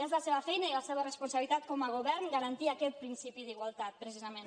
és la seva feina i la seva responsabilitat com a govern garantir aquest principi d’igualtat precisament